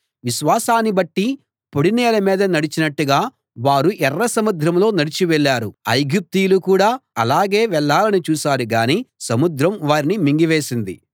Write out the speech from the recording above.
విశ్వాసాన్ని బట్టి పొడినేల మీద నడిచినట్టుగా వారు ఎర్ర సముద్రంలో నడిచి వెళ్ళారు ఐగుప్తీయులు కూడా అలాగే వెళ్ళాలని చూశారు గానీ సముద్రం వారిని మింగివేసింది